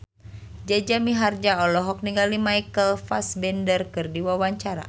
Jaja Mihardja olohok ningali Michael Fassbender keur diwawancara